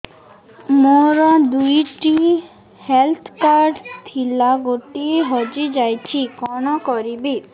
ମୋର ଦୁଇଟି health card ଥିଲା ଗୋଟିଏ ହଜି ଯାଇଛି କଣ କରିବି